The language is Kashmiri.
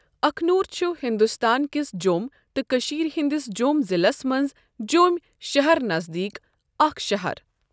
اَکھنوٗر چھُ ہِندوستان کِس جۆم تہٕ کٔشیٖر ہٕنٛدِس جۆم ضِلس مَنٛز جۆم شَہَر نَذدیٖکھ اَکھ شَہَر.